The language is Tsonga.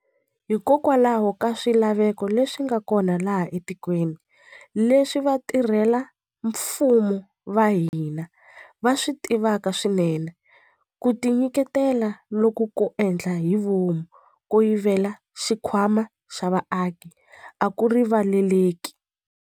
Hikokwalaho ka swilaveko leswi nga kona laha etikweni, leswi vatirhela mfumo va hina va swi tivaka swinene, ku tinyiketela loku ko endla hi vomu ko yivela xikhwama xa vaaki a ku riva leleki.